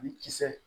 Ni kisɛ